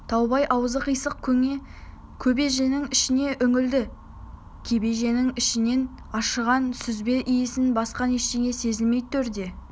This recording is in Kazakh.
таубай аузы қисық көне кебеженің ішіне үңілді кебеженің ішінен ашыған сүзбе исінен басқа ештеңе сезілмеді төрде